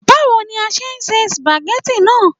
Báwo ni a ṣe se sùpàgẹ́tì náà